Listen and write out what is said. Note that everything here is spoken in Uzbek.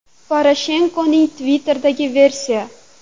Poroshenkoning Twitter’idagi versiya.